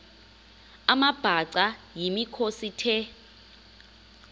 amabhaca yimikhosi the